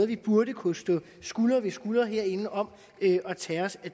vi burde kunne stå skulder ved skulder herinde om at tage os af